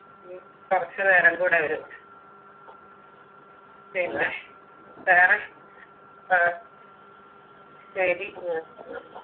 കൊറച്ച് നേരം കൂടെ വരു പിന്നെ വേറെ ആഹ് ശരി